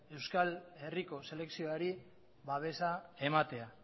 euskal herriko selekzioari babesa ematea